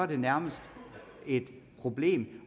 det nærmest er et problem